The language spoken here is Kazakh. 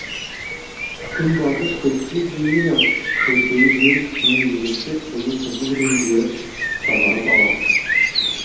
күнбатыс көпке дейін ақ көрпелі жел үстіне ерекше қою қызыл рең беріп сазарып алады